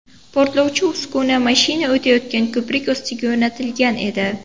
Portlovchi uskuna mashina o‘tayotgan ko‘prik ostiga o‘rnatilgan edi.